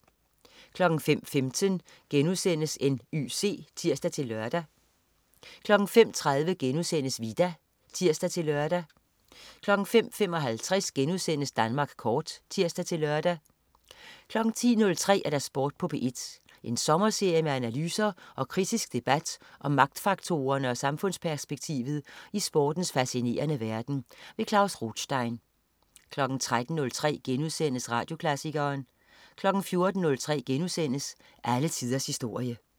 05.15 N.Y.C* (tirs-lør) 05.30 Vita* (tirs-lør) 05.55 Danmark Kort* (tirs-lør) 10.03 Sport på P1. En sommerserie med analyser og kritisk debat om magtfaktorerne og samfundsperspektivet i sportens facinerende verden. Klaus Rothstein 13.03 Radioklassikeren* 14.03 Alle tiders historie*